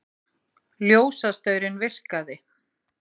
Ljósastaurinn virkaði